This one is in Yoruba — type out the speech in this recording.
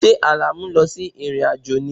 Ṣé Àlàní lọ sí ìrìn-àjò ni?